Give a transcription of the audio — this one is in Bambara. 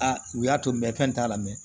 Aa u y'a to n bɛ fɛn t'a la mɛ